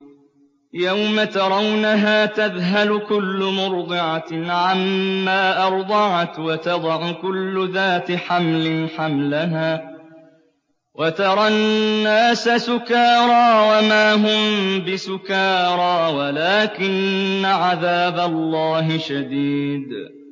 يَوْمَ تَرَوْنَهَا تَذْهَلُ كُلُّ مُرْضِعَةٍ عَمَّا أَرْضَعَتْ وَتَضَعُ كُلُّ ذَاتِ حَمْلٍ حَمْلَهَا وَتَرَى النَّاسَ سُكَارَىٰ وَمَا هُم بِسُكَارَىٰ وَلَٰكِنَّ عَذَابَ اللَّهِ شَدِيدٌ